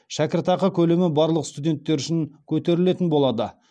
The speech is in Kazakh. шәкіртақы көлемі барлық студенттер үшін көтерілетін болады